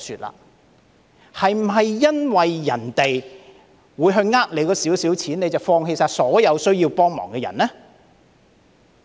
是否因為有人會欺騙那一點錢，當局便放棄幫助所有需要幫助的人呢？